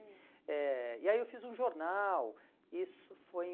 Eh e aí eu fiz um jornal, isso foi em